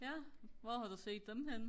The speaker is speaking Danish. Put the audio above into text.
ja hvor har du set dem henne